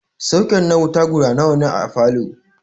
Soket na wuta guda nawa ne a falow?